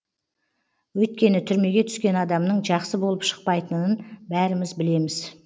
өйткені түрмеге түскен адамның жақсы болып шықпайтынын бәріміз білеміз